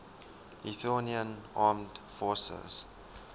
lithuanian armed forces